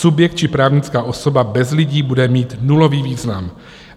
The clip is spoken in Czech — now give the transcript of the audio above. Subjekt či právnická osoba bez lidí bude mít nulový význam.